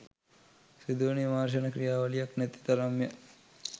සිදුවන විමර්ශන ක්‍රියාවලියක් නැති තරම්ය.